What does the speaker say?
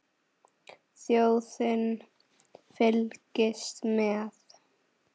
Þjóðin fylgist með.